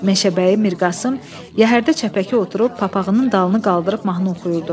Meşəbəyi Mirqasım yəhərdə çəpəki oturub papaqının dalını qaldırıb mahnı oxuyurdu.